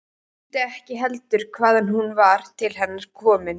Mundi ekki heldur hvaðan hún var til hennar komin.